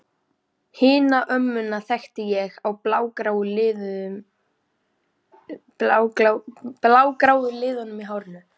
Hina ömmuna þekkti ég á blágráu liðunum í hárinu.